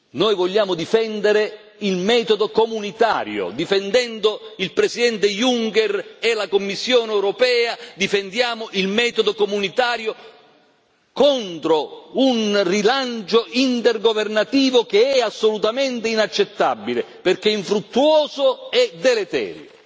Noi vogliamo difendere il metodo comunitario, difendendo il Presidente Juncker e la Commissione europea, difendiamo il metodo comunitario contro un rilancio intergovernativo che è assolutamente inaccettabile, perché infruttuoso e deleterio.